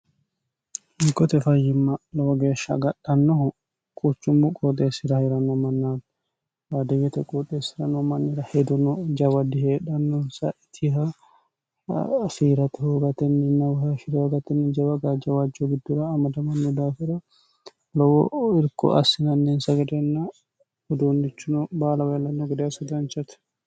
mikote fayyimma lowo geeshsha agadhannohu quchummu qooxeessirahi'rano mannaati baadiwyete quuxeessirano mannira heduno jawa diheedhannonsa itiha fiirate hugatenninnawih hshirohogatenni jawaga jawajjo giddura amadamanni daafira lowo irko assinanneensa gedeenna huduunnichino baala weellanno gode assidanchate